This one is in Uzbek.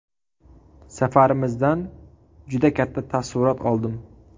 Safarimizdan juda katta taassurot oldim.